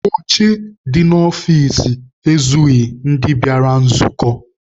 Oche dị n'ọfici ezughị ndị bịara nzukọ.